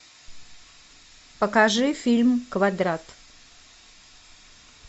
покажи фильм квадрат